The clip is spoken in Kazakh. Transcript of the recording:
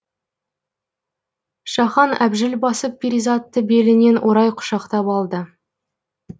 шахан әбжіл басып перизатты белінен орай құшақтап алды